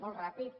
molt ràpid